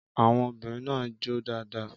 Àwọn obìnrin náà jó dáadáa.